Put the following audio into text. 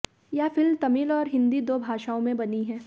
ये फिल्म तमिल और हिंदी दो भाषाओं में बनी है